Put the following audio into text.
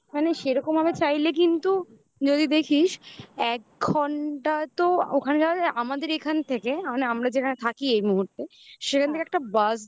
মানে সেরকম ভাবে চাইলে কিন্তু যদি দেখিস এক ঘন্টা তো ওখানে যাওয়া যায় আমাদের এখান থেকে মানে আমরা যেখানে থাকি এই মুহূর্তে